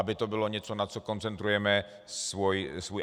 Aby to bylo něco, na co koncentrujeme svoje....